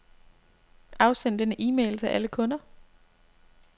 Afsend denne e-mail til alle kunder.